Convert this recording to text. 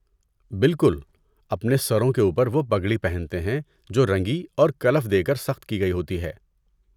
بالکل! اپنے سروں کے اوپر، وہ پگڑی پہنتے ہیں جو رنگی اور کلف دے کر سخت کی گئی ہوتی ہے۔